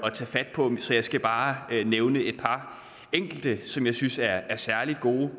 at tage fat på så jeg skal bare nævne et par enkelte som jeg synes er særlig gode